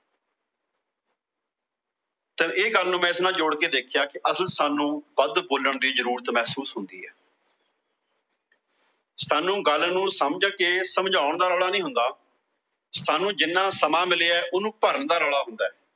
ਚੱਲ ਇਹ ਗੱਲ ਨੂੰ ਮੈ ਇਸ ਨਾਲ ਜੋੜ ਕੇ ਵੇਖਿਆ ਕਿ ਅਸਲ ਚ ਸਾਂਨੂੰ ਵੱਧ ਬੋਲਣ ਦੀ ਜਰੂਰਤ ਮਹਿਸੂਸ ਹੁੰਦੀ ਏ। ਸਾਂਨੂੰ ਗੱਲ ਨੂੰ ਸਮਝ ਕੇ ਸਮਝਾਉਣ ਦਾ ਰੌਲਾ ਨਹੀਂ ਹੁੰਦਾ। ਸਾਂਨੂੰ ਜਿਨ੍ਹਾਂ ਸਮਾਂ ਮਿਲਿਆ ਉਹਨੂੰ ਭਰਨ ਦਾ ਰੋਲਾਂ ਹੁੰਦਾ।